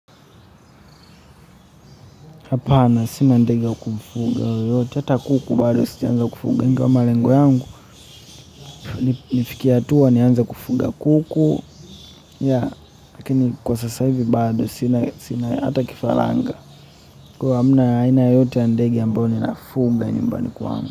Hapana, sina ndege ya kufuga yoyote, hata kuku bado sijaanza kufuga, ingawa malengo yangu, nifike hatua nianze kufuga kuku, yeah, lakini kwa sasa hivi bado sina hata kifaranga, kwa hivyo hamna aina yoyote ya ndege ambayo ninafuga nyumbani kwangu.